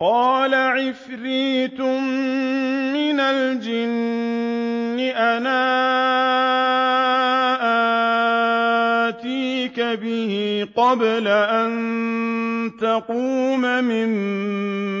قَالَ عِفْرِيتٌ مِّنَ الْجِنِّ أَنَا آتِيكَ بِهِ قَبْلَ أَن تَقُومَ مِن